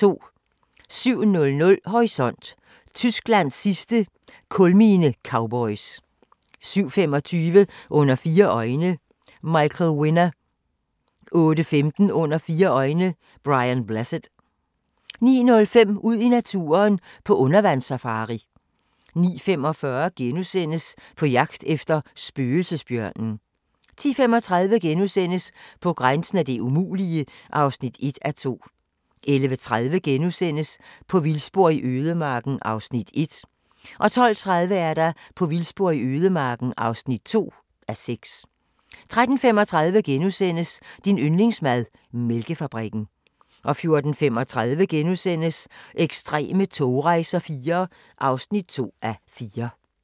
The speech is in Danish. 07:00: Horisont: Tysklands sidste kulminecowboys 07:25: Under fire øjne – Michael Winner 08:15: Under fire øjne - Brian Blessed 09:05: Ud i naturen: På undervandssafari 09:45: På jagt efter spøgelsesbjørnen * 10:35: På grænsen af det umulige (1:2)* 11:30: På vildspor i ødemarken (1:6)* 12:30: På vildspor i ødemarken (2:6) 13:35: Din yndlingsmad: Mælkefabrikken * 14:35: Ekstreme togrejser IV (2:4)*